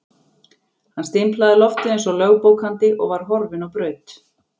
Hann stimplaði loftið eins og lögbókandi og var horfinn á braut.